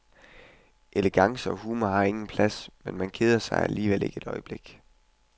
Elegance og humor har ingen plads, men man keder sig alligevel ikke et øjeblik.